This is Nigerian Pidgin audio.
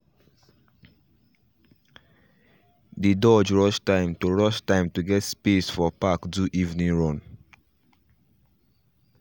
dey dodge rush time to rush time to get space for park do evening run